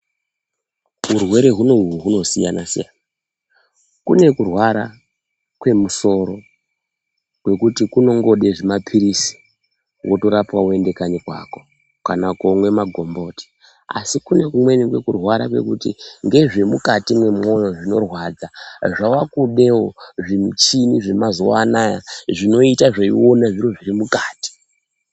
Urwere hunohu hunosiyana siyana. Kune kurwara kwemusoro kwekuti kunongode zvimapilizi wotorapwa woende kanyi kwako, kana komwe magomboti, asi kune kumweni kurwara kwekuti ngezve mukati mwemwoyo zvinorwadza zvakudewo zvimuchini zvemazuwa anaya zvinoita zveione zviro zviri mukati.